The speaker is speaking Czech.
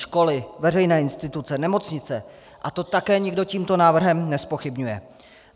Školy, veřejné instituce, nemocnice, a to také nikdo tímto návrhem nezpochybňuje.